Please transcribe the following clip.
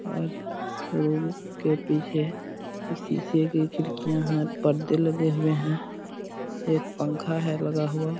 और रूम के पीछे शीशे के खिड़कियां हैं परदे लगे हुए हैं और एक पंखा है लगा हुआ।